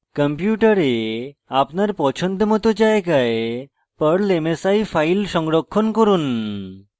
কম্পিউটারে আপনার পছন্দমত জায়গায় perl msi file সংরক্ষণ করুন